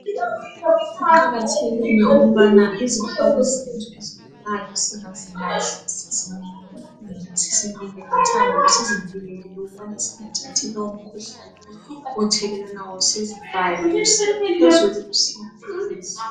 Kuqakathekile ukubana izihlobo zethu ezigulayo singazilahli sizinike ukudla sizinike lothando sizivikele ukubana singathathi lowu mkhuhlane othelelwanayo